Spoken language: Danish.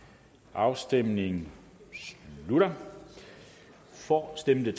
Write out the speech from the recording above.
afstemningen slutter for stemte